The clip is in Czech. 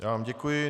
Já vám děkuji.